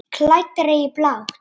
Klæddri í blátt.